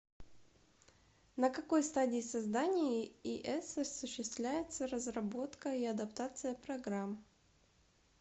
на какой стадии создания ис осуществляется разработка и адаптация программ